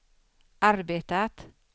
arbetat